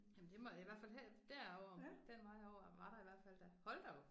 Jamen det må det i hvert fald have derovre den vej over var der i hvert fald da hold da op